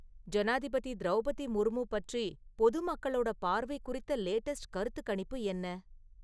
ஜனாதிபதி திரௌபதி முர்மு பற்றி பொது மக்களோட பார்வை குறித்த லேட்டஸ்ட் கருத்துக்கணிப்பு என்ன?